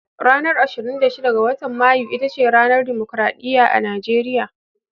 Ranar ashrin da shida ga watan Mayu ita ce ranar dimokradiyya a Nigeriya.